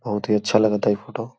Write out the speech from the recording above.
बहोत ही अच्छा लागता ई फोटो ।